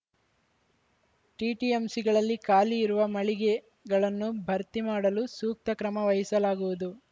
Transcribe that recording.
ಟಿಟಿಎಂಸಿಗಳಲ್ಲಿ ಖಾಲಿ ಇರುವ ಮಳಿಗೆಗಳನ್ನು ಭರ್ತಿ ಮಾಡಲು ಸೂಕ್ತ ಕ್ರಮ ವಹಿಸಲಾಗುವುದು